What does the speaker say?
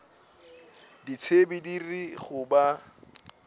ditsebi di re go ba